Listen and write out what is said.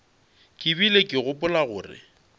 ke bile ke gopola gore